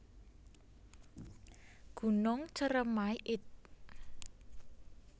Gunung Ceremai id